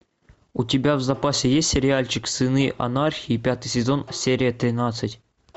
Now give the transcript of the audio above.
у тебя в запасе есть сериальчик сыны анархии пятый сезон серия тринадцать